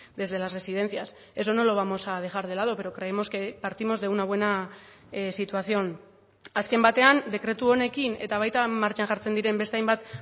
desde las residencias eso no lo vamos a dejar de lado pero creemos que partimos de una buena situación azken batean dekretu honekin eta baita martxan jartzen diren beste hainbat